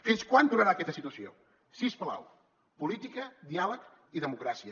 fins quan durarà aquesta situació si us plau política diàleg i democràcia